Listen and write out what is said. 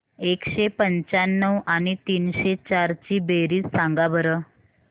एकशे पंच्याण्णव आणि तीनशे चार ची बेरीज सांगा बरं